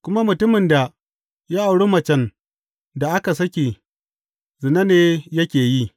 Kuma mutumin da ya auri macen da aka sake, zina ne yake yi.